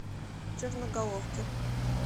черноголовки